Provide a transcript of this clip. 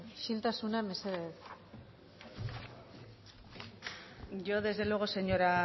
isiltasuna mesedez yo desde luego señora